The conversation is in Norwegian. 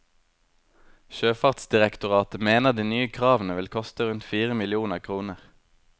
Sjøfartsdirektoratet mener de nye kravene vil koste rundt fire millioner kroner.